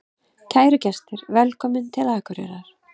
Kæru gestir! Velkomnir til Akureyrar.